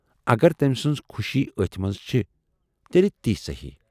اَگر تٔمۍ سٕنز خوشی ٲتھۍ منز چھِ، تیلہِ تی صحیح۔